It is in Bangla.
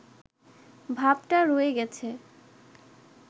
ভাবটা রয়ে গেছে